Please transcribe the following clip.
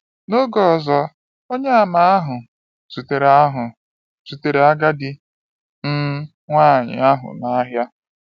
N’oge ọzọ, Onyeàmà ahụ zutere ahụ zutere agadi um nwaanyị ahụ n’ahịa.